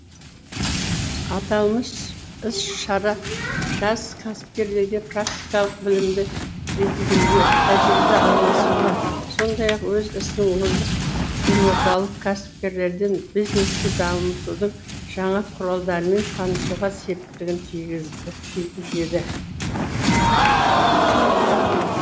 аталмыш іс шара жас кәсіпкерлерге практикалық білімді жетілдіруге тәжірибе алмасуға сондай ақ өз ісінің озық елордалық кәсіпкерлерден бизнесті дамытудың жаңа құралдарымен танысуға септігін тигізеді